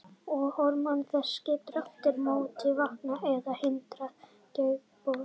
Hormón þess geta aftur á móti vakið eða hindrað taugaboð.